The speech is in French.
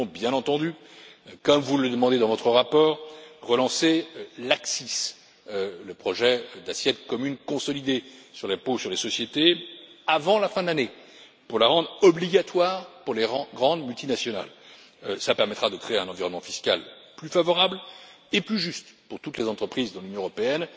Nous allons, bien entendu, comme vous le demandez dans votre rapport, relancer l'ACCIS, le projet d'assiette commune consolidée sur l'impôt sur les sociétés, avant la fin de l'année, pour la rendre obligatoire pour les grandes multinationales. Cela permettra de créer un environnement fiscal plus favorable et plus juste pour toutes les entreprises dans l'Union européenne.